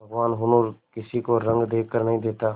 भगवान हुनर किसी को रंग देखकर नहीं देता